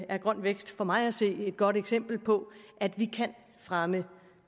er grøn vækst for mig at se et godt eksempel på at vi kan fremme